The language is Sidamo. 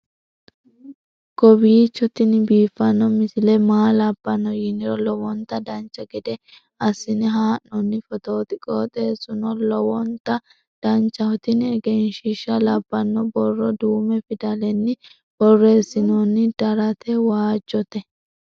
kowiicho tini biiffanno misile maa labbanno yiniro lowonta dancha gede assine haa'noonni foototi qoxeessuno lowonta danachaho. tini egenshshiisha labbanno borro duume fidalenni borreessinoonni darate waajjjote